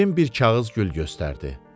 Bibim bir kağız gül göstərdi.